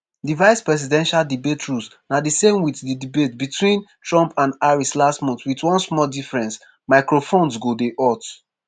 di vice-presidential debate rules na di same wit di debates betwin trump and harris last month wit one small difference: microphones go dey hot.